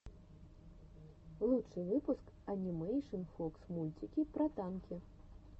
лучший выпуск энимэйшн фокс мультики про танки